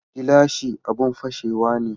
Gilashi abun fashewa ne